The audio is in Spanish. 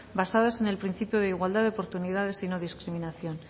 basadas en el principio de igualdad de oportunidades y no discriminación